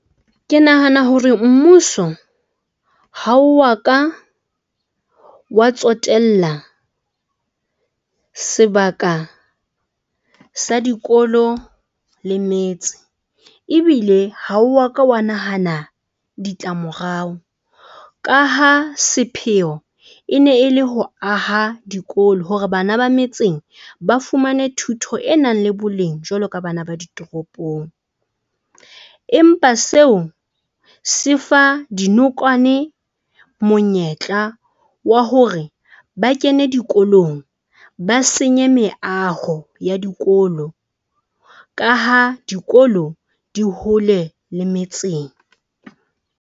Ke nahana hore mmuso ha wa ka wa tsotella sebaka sa dikolo le metse. Ebile ha wa ka wa nahana ditlamorao ka ha sepheo e ne e le ho aha dikolo hore bana ba metseng ba fumane thuto e nang le boleng jwalo ka bana ba ditoropong, empa seo se fa dinokwane monyetla wa hore ba kene dikolong ba senye meaho ya dikolo ka ha dikolo di hole le metseng.